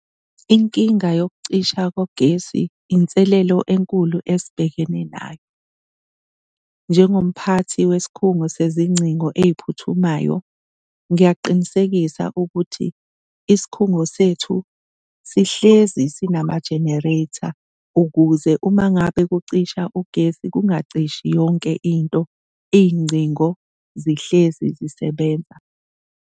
Inkinga yokucisha kogesi inselelo enkulu esibhekene nayo. Njengomphathi wesikhungo sezingcingo ey'phuthumayo ngiyakuqinisekisa ukuthi isikhungo sethu sihlezi sinamajenereyitha ukuze uma ngabe kucisha ugesi kungacishi yonke into, iy'ngcingo zihlezi zisebenza.